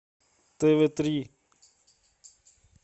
тв три